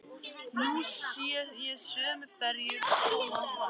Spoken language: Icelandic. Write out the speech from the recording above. Nú sé ég sömu ferju koma og fara.